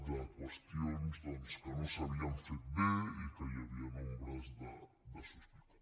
de qüestions que no s’havien fet bé i en què hi havien ombres de sospita